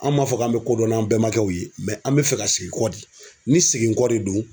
An b'a fɔ k'an bɛ kodɔn n'an bɛmakɛw ye an bɛ fɛ ka segin kɔ de ni seginkɔ de don.